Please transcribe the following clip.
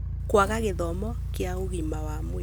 Kwaga gĩthomo kĩa ũgima wa mwĩrĩ: